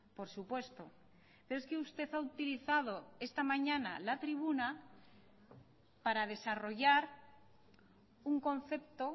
por supuesto pero es que usted ha utilizado esta mañana la tribuna para desarrollar un concepto